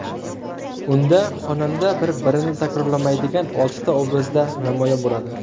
Unda xonanda bir-birini takrorlamaydigan oltita obrazda namoyon bo‘ladi.